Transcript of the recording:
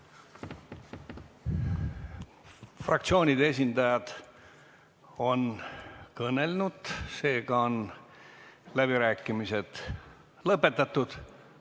Fraktsioonide esindajad on kõnelnud, seega on läbirääkimised lõpetatud.